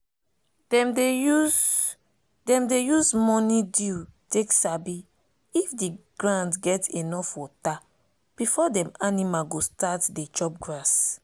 dem dey use dem dey use morning dew take sabi if the ground get enough water before dem animal go start dey chop grass.